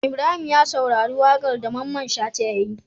Ibrahim ya saurari waƙar da mamman shata yayi